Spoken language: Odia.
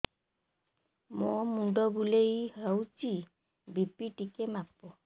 ମୋ ମୁଣ୍ଡ ବୁଲେଇ ହଉଚି ବି.ପି ଟିକେ ମାପ